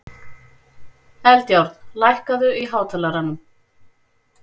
Eldjárn, lækkaðu í hátalaranum.